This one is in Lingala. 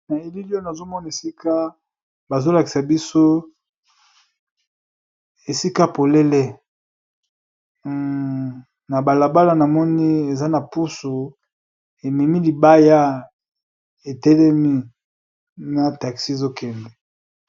Na eilili oyo nazomona esika balakisi biso esika polele na balabala eza na pusu ememi libaya etelemi na taxi ezokende.